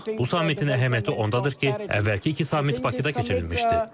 Bu sammitin əhəmiyyəti ondadır ki, əvvəlki iki sammit Bakıda keçirilmişdi.